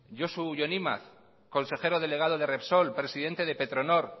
josu jon imaz consejero delegado de repsol presidente de petronor